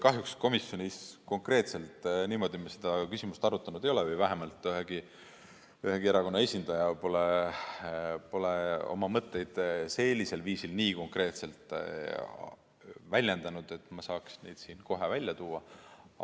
Kahjuks komisjonis konkreetselt niimoodi me seda küsimust arutanud ei ole või vähemalt ühegi erakonna esindaja pole oma mõtteid sellisel viisil nii konkreetselt väljendanud, et ma saaks neid siin kohe välja tuua.